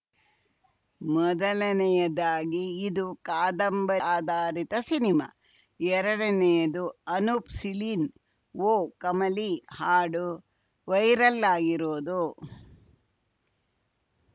ಮೊದಲನೇಯದಾಗಿ ಇದು ಕಾದಂಬರಿ ಆಧಾರಿತ ಸಿನಿಮಾ ಎರಡನೇಯದು ಅನೂಪ್‌ ಸೀಳಿನ್‌ ಓ ಕಮಲಿ ಹಾಡು ವೈರಲ್‌ ಆಗಿರೋದು